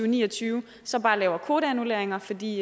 ni og tyve så bare laver kvoteannulleringer fordi